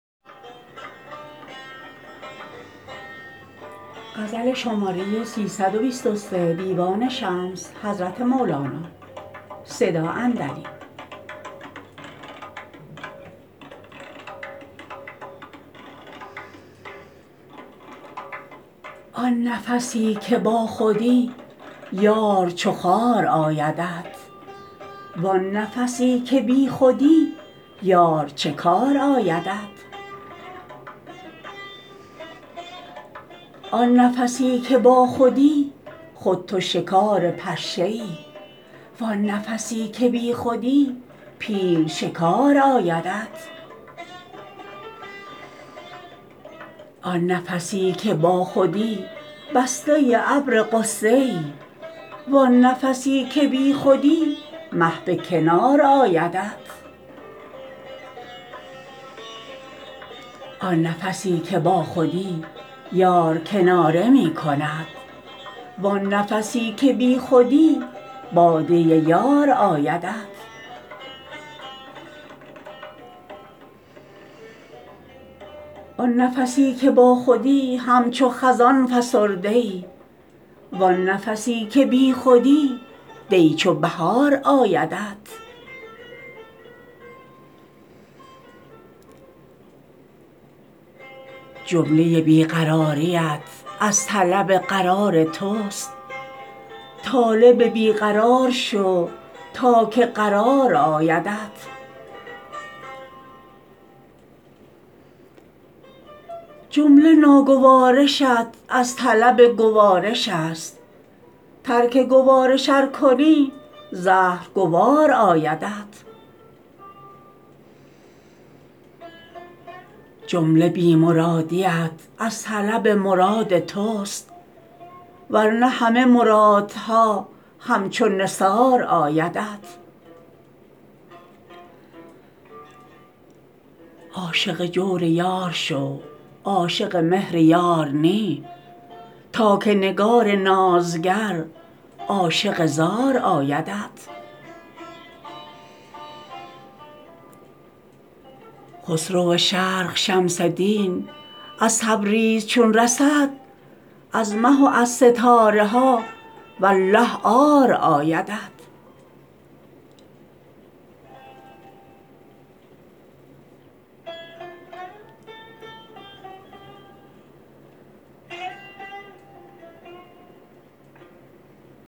آن نفسی که باخودی یار چو خار آیدت وان نفسی که بیخودی یار چه کار آیدت آن نفسی که باخودی خود تو شکار پشه ای وان نفسی که بیخودی پیل شکار آیدت آن نفسی که باخودی بسته ابر غصه ای وان نفسی که بیخودی مه به کنار آیدت آن نفسی که باخودی یار کناره می کند وان نفسی که بیخودی باده یار آیدت آن نفسی که باخودی همچو خزان فسرده ای وان نفسی که بیخودی دی چو بهار آیدت جمله بی قراریت از طلب قرار توست طالب بی قرار شو تا که قرار آیدت جمله ناگوارشت از طلب گوارش است ترک گوارش ار کنی زهر گوار آیدت جمله بی مرادیت از طلب مراد توست ور نه همه مرادها همچو نثار آیدت عاشق جور یار شو عاشق مهر یار نی تا که نگار نازگر عاشق زار آیدت خسرو شرق شمس دین از تبریز چون رسد از مه و از ستاره ها والله عار آیدت